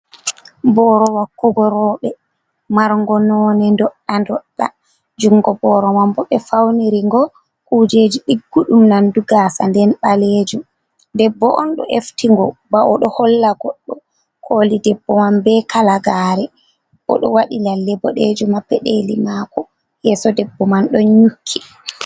Boro wakkugo rooɓe margo none doɗɗa doɗɗa, jungo boro man bo be fauniri go kujeji nandu gasa den balejum, debbo on ɗo efti ngo ba o ɗo holla goɗɗo, koli debbo man be kalagare o ɗo waɗi lalle bodejum ha peɗeli mako yeso debbo man ɗo nyuki.